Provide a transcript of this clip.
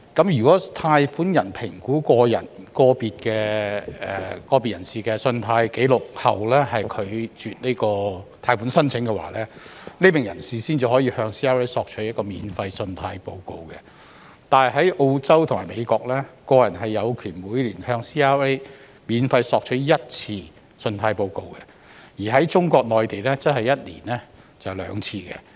如果貸款人在評估個別人士的信貸紀錄後拒絕貸款申請，該名人士才可向 CRA 免費索取信貸報告，但在澳洲和美國，個人有權每年向 CRA 免費索取信貸報告一次，而中國內地則是每年兩次。